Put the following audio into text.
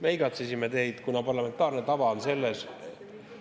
Me igatsesime teid, kuna parlamentaarne tava on selles, et…